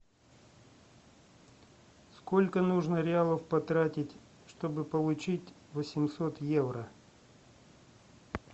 сколько нужно реалов потратить чтобы получить восемьсот евро